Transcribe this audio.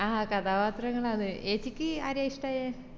ആഹ് കഥാപാത്രങ്ങളാണ് ഏച്ചിക് ആരെയാ ഇഷ്ട്ടായെ